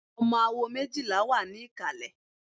Ọmọ awo méjìlá wà ní ìkàlẹ̀.